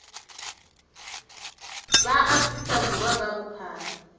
ba afrika borwa ka bophara